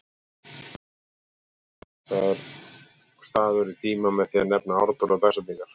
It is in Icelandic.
Atburðum er markaður staður í tíma með því að nefna ártöl og dagsetningar.